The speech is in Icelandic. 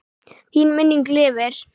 Þín minning lifir.